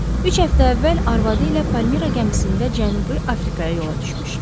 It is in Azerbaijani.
Üç həftə əvvəl arvadı ilə Palmira gəmisində Cənubi Afrikaya yola düşmüşdülər.